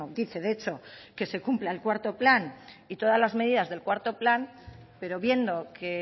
dice de hecho que se cumpla en cuarto plan y todas las medidas del cuarto plan pero viendo que